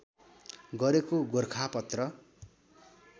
गरेको गोरखापत्र